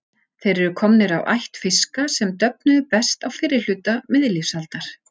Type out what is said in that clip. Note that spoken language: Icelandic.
Þeir eru komnir af ætt fiska sem döfnuðu best á fyrri hluta miðlífsaldar.